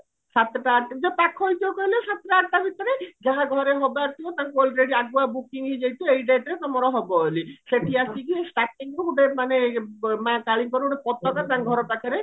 ସାତଟା ଆଠଟା ଯଦି ପାଖ ହେଇଥିବ କହିଲେ ସାତଟା ଆଠଟା ଭିତରେ ଯାହା ଘରେ ହବାର ଥିବା ତାଙ୍କୁ already ଆଗୁଆ booking ହେଇଯାଇଥିବ ଏଇ dateରେ ତମର ହବ ବୋଲି ଶେଠୀ ଆସିକି startingରୁ ଗୋଟେ ମାନେ ମା କାଳୀଙ୍କର ଗୋଟେ ପତାକା ତାଙ୍କ ଘର ପାଖରେ